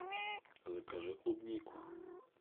закажи клубнику